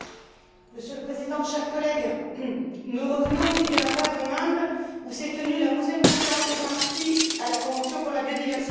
Monsieur le Président, chers collègues, nous revenons d'Hyderabad, en Inde, où s'est tenue la Onzième conférence des parties à la convention pour la biodiversité.